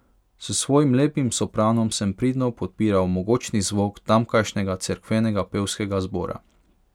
S svojim lepim sopranom sem pridno podpiral mogočni zvok tamkajšnjega cerkvenega pevskega zbora.